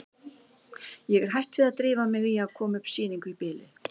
Ég er hætt við að drífa mig í að koma upp sýningu í bili.